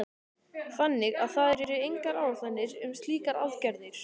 Þannig að það eru engar áætlanir um slíkar aðgerðir?